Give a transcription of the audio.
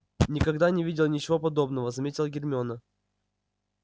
никогда не видела ничего подобного заметила гермиона